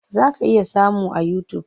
Za ka iya samun a yutub.